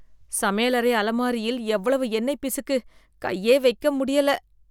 சமையலறை அலமாரியில் எவ்வளவு எண்ணெய் பிசுக்கு கையே வைக்க முடியல